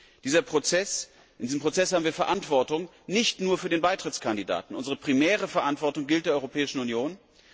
In diesem Prozess tragen wir Verantwortung nicht nur für den Beitrittskandidaten, unsere primäre Verantwortung gilt der Europäischen Union.